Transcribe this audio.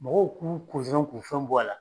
Mɔgɔw k'u k'u fɛnw bɔ a la.